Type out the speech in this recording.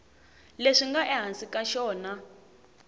leswi nga ehansi ka xona